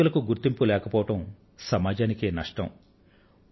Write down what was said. ఇటువంటి వ్యక్తులకు గుర్తింపు లేకపోవడం సమాజానికే నష్టం